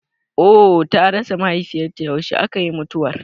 Ohh ta rasa mahaifiyar ta, yaushe aka yi mutuwar?